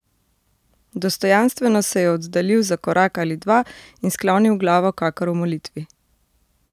Dostojanstveno se je oddaljil za korak ali dva in sklonil glavo kakor v molitvi.